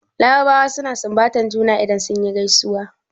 Larabawa suna sunbatar juna idan suna gaisuwa.